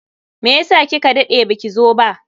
Meyasa kika dade baki zo ba?